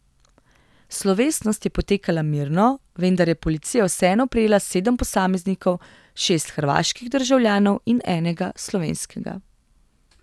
Slovesnost je potekala mirno, vendar je policija vseeno prijela sedem posameznikov, šest hrvaških državljanov in enega slovenskega.